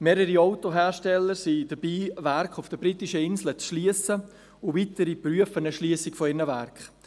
Mehrere Autohersteller sind daran, Werke auf den Britischen Inseln zu schliessen, und weitere prüfen eine Schliessung ihrer Werke.